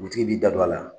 Dugutigi b'i da don a la